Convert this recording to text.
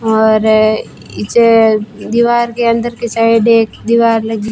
और दीवार के अंदर के साइड एक दीवार लगी--